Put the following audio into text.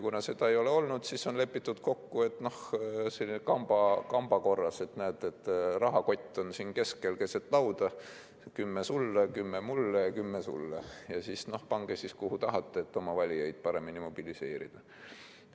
Kuna seda ei ole olnud, siis on lepitud kokku, noh, selliselt kamba korras, et näete, rahakott on siin keset lauda, kümme sulle, kümme mulle, kümme sulle, ja pange siis, kuhu tahate, et oma valijaid paremini mobiliseerida.